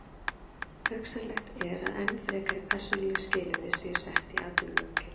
Hugsanlegt er að enn frekari persónuleg skilyrði séu sett í atvinnulöggjöf.